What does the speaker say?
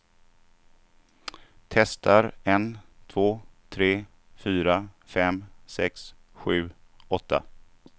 Testar en två tre fyra fem sex sju åtta.